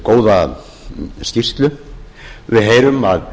góða skýrslu við heyrum að